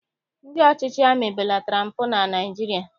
Ndị ọchịchị amị belatara mpụ na Naịjirịa